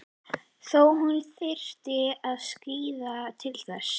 Þó hún þyrfti að skríða til þess.